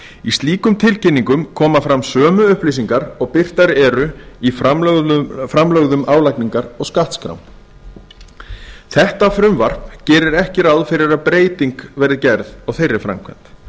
í slíkum tilkynningum koma fram sömu upplýsingar og birtar eru í framlögðum álagningar og skattskrám þetta frumvarp gerir ekki ráð fyrir að breyting verði gerð á þeirri framkvæmd